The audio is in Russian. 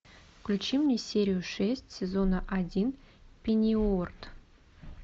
включи мне серию шесть сезона один пенниуорт